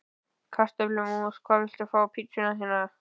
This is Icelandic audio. Kartöflumús Hvað vilt þú fá á pizzuna þína?